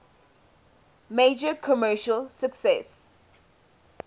major commercial success